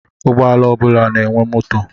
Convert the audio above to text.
Ụgbọala ọ bụla na-enwe moto.